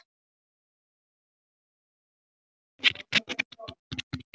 Hella, pantaðu tíma í klippingu á fimmtudaginn.